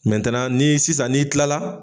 ni sisan ni'i kilala.